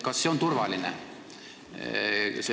Kas see on turvaline?